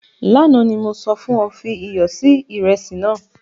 Lánà ni mo sọ fun ọ, fi iyọ si iresi nàá.